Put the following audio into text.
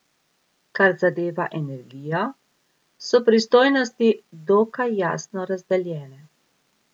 Kar zadeva energijo, so pristojnosti dokaj jasno razdeljene.